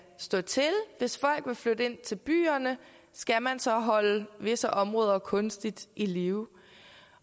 stå til hvis folk vil flytte ind til byerne skal man så holde visse områder kunstigt i live